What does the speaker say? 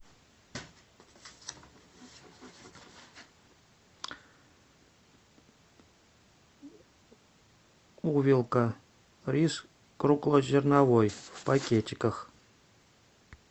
увелка рис круглозерновой в пакетиках